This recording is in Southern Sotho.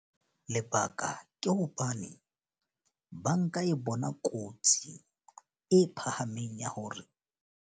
Lebaka ke hobane banka e bona kotsi e phahameng ya hore.